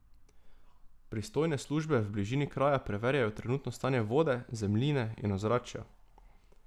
Pristojne službe v bližini kraja preverjajo trenutno stanje vode, zemljine in ozračja.